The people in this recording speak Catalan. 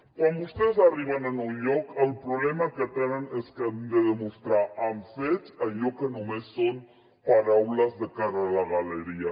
quan vostès arriben a un lloc el problema que tenen és que han de demostrar amb fets allò que només són paraules de cara a la galeria